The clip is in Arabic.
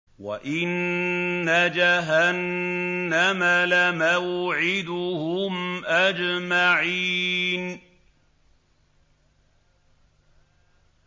وَإِنَّ جَهَنَّمَ لَمَوْعِدُهُمْ أَجْمَعِينَ